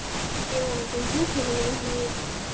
மதிய வணக்கம் sir சொல்லுங்க என்ன வேணும்